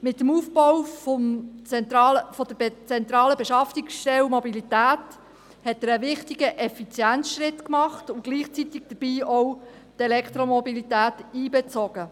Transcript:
Mit dem Aufbau der zentralen Beschaffungsstelle Mobilität hat er einen wichtigen Effizienzschritt gemacht und gleichzeitig die Elektromobilität einbezogen.